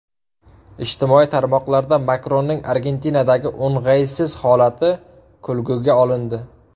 Ijtimoiy tarmoqlarda Makronning Argentinadagi o‘ng‘aysiz holati kulguga olindi.